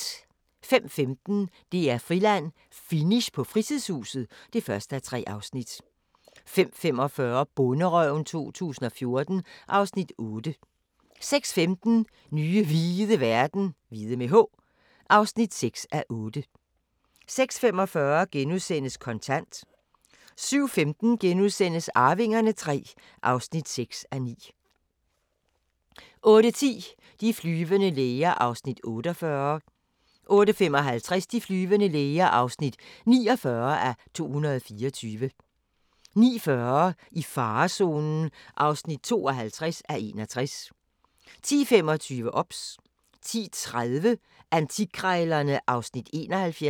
05:15: DR-Friland: Finish på Frilandshuset (1:3) 05:45: Bonderøven 2014 (Afs. 8) 06:15: Nye hvide verden (6:8) 06:45: Kontant * 07:15: Arvingerne III (6:9)* 08:10: De flyvende læger (48:224) 08:55: De flyvende læger (49:224) 09:40: I farezonen (52:61) 10:25: OBS 10:30: Antikkrejlerne (Afs. 71)